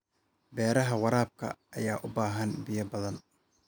Beeraha waraabka ayaa u baahan biyo badan.